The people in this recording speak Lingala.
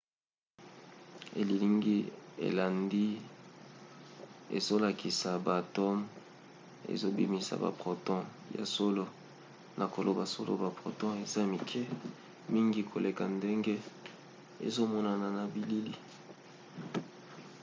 elilingi elandi ezolakisa ba atome ezobimisa ba proton. ya solo na koloba solo ba proton eza mike mingi koleka ndenge ezomonana na bilili